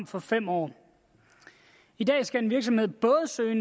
for fem år i dag skal en virksomhed både søge